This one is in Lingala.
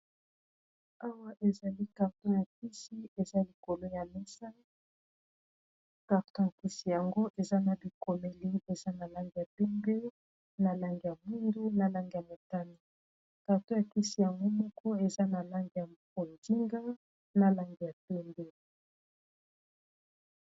Awa ezali carton ya kisi eza likolo ya mesa carton ya kisi yango eza na bikomeli eza na langi ya pembe, na langi ya mwindu, na langi ya motane. Carton ya kisi yango moko eza na langi ya bonzinga na langi ya pembe.